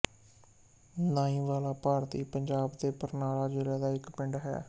ਨਾਈ ਵਾਲਾ ਭਾਰਤੀ ਪੰਜਾਬ ਦੇ ਬਰਨਾਲਾ ਜ਼ਿਲ੍ਹਾ ਦਾ ਇੱਕ ਪਿੰਡ ਹੈ